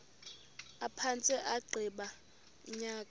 aphantse agqiba unyaka